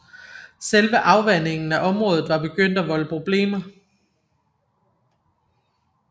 Selve afvandingen af området var begyndt at volde problemer